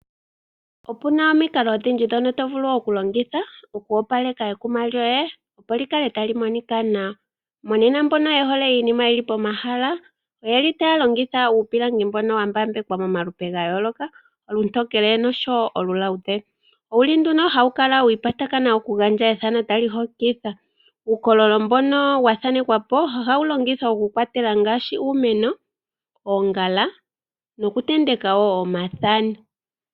Opu na omikalo odhindji ndhono to vulu okulongitha oku opaleka ekuma lyoye, opo li kale tali monika nawa. Monena mbono ye hole iinima yi li pomahala otaya longitha uupilangi mbono wa mbambekwa momalupe ga yooloka, olutokele oshowo oluluudhe. Ohawu kala wa kwatathana nokugandja ethano tali hokitha. Uukololo mbono wa thanekwa po ohawu longithwa ngaashi okukwatela uumeno, oongala nokutenteka wo omathano.